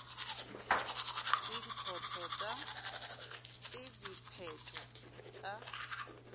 t e dipheto t a